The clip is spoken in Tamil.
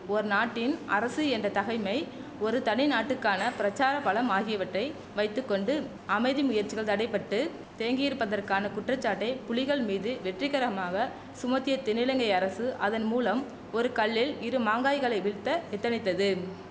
ஓர் நாட்டின் அரசு என்ற தகைமை ஒரு தனிநாட்டுக்கான பிரசார பலம் ஆகியவற்றை வைத்து கொண்டு அமைதி முயற்சிகள் தடை பட்டு தேங்கியிருப்பதற்கான குற்றச்சாட்டை புலிகள் மீது வெற்றிகரமாக சுமத்திய தென்னிலங்கை அரசு அதன் மூலம் ஒரு கல்லில் இரு மாங்காய்களை வீழ்த்த எத்தனித்தது